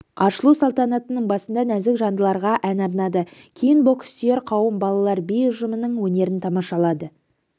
ашылу салтанатының басында нәзік жандыларға ән арнады кейін бокссүйер қауым балалар би ұжымының өнерін тамашалады